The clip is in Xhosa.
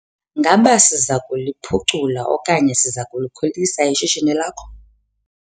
Ngaba siza kuliphucula okanye siza kulikhulisa ishishini lakho?